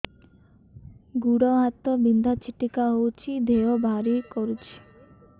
ଗୁଡ଼ ହାତ ବିନ୍ଧା ଛିଟିକା ହଉଚି ଦେହ ଭାରି କରୁଚି